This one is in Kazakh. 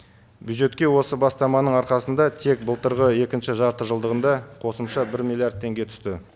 бюджетке осы бастаманың арқасында тек былтырғы екінші жартыжылдығында қосымша бір миллиард теңге түсті